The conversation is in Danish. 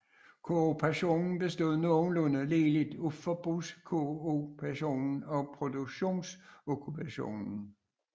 Kooperationen bestod nogenlunde ligeligt af forbrugskooperation og produktionskooperation